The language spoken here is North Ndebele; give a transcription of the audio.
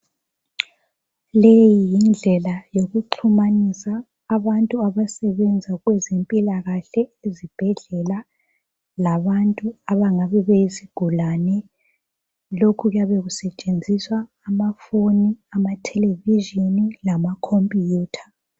Leyi yindlela yokuxhumanisa abantu abasebenza kwezempilakahle ezibhedlela labantu abangabe beyizigulane lokhu kuyabe kusetshenziswa amafoni ama television lamacomputer.